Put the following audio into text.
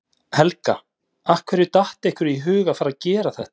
Helga: Af hverju datt ykkur í hug að fara að gera þetta?